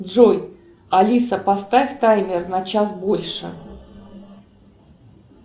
джой алиса поставь таймер на час больше